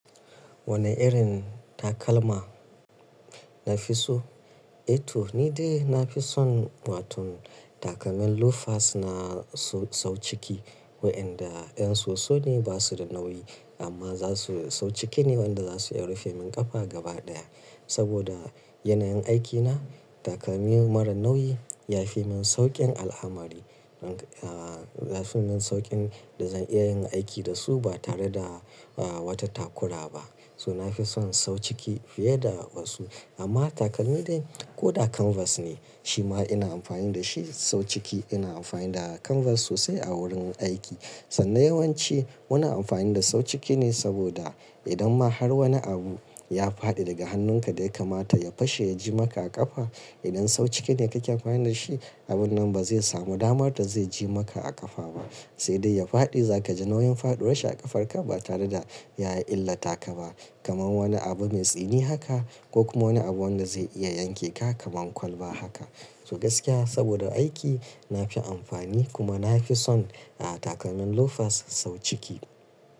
Wane irin takalma nafi so? Eh to ni dai nafi son watan takalman loafers na sau ciki, waɗanda ɗan soso ne, ba su da nauyi amma za su sau ciki ne waɗanda za su iya rufe min ƙafa gaba ɗaya. Saboda yanayin aikina takalmi marar nauyi ya fi min sauƙin al'amari. Aaa yafi min sauƙin da zan iya yin aiki da su ba tare da aa wata takura ba. So nafi son sau ciki fiye da wasu amma takalmi dai ko da kanvas ne, shi ma ina amfani da shi sau ciki. Ina amfani da kanvas sosai a wurin aiki. Sannan yawanci muna amfani da sau ciki ne saboda idan ma har wani abu ya faɗi daga hannunka dai kamata ya fashe ya ji maka a ƙafa. Idan sau ciki ne kake amfani da shi, abun nan ba zai samu damar da zai ji maka a ƙafa ba, sai dai ya faɗi za ka ji nauyin faduwar shi a ƙafarka ba tare da ya illata ka ba. Kaman wani abu mai tsini haka ko kuma wani abu wanda zai iya yanke ka kaman kwalba haka. So gaskiya saboda aiki nafi amfani kuma nafi son aa takalman loafers sau ciki.